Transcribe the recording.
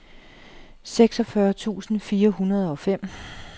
seksogfyrre tusind fire hundrede og fem